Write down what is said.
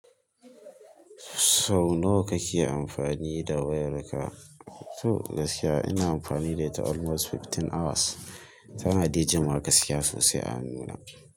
Sau nawa kake amfani da wayarka? To gaskiya ina amfani da ita almost fifteen hours. Tana dai jimawa gaskiya sosai a hannuna.